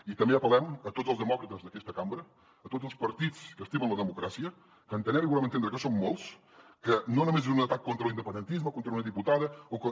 i també apellem a tots els demòcrates d’aquesta cambra a tots els partits que estimen la democràcia que entenem i volem entendre que són molts que no només és un atac contra l’independentisme o contra una diputada o contra